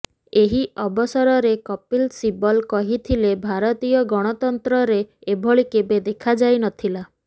ଏହି ଅବସରରେ କପିଲ ଶିବଲ କହିଥିଲେ ଭାରତୀୟ ଗଣତନ୍ତ୍ରରେ ଏଭଳି କେବେ ଦେଖାଯାଇନଥିଲା